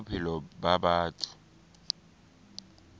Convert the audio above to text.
boleng ba bophelo ba batho